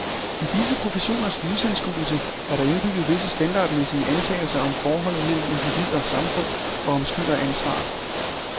I disse professioners livsanskuelse er der indbygget visse standardmæssige antagelser om forholdet mellem individ og samfund og om skyld og ansvar.